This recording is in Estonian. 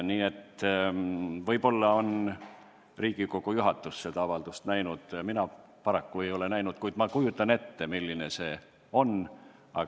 Võib-olla on Riigikogu juhatus seda avaldust näinud, mina seda paraku näinud ei ole näinud, kuid ma kujutan ette, milline see olla võib.